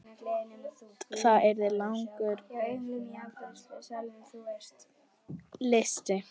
Það yrði langur listi.